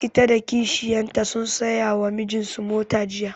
Ita da kishiyar ta sun saya wa mijin su mota jiya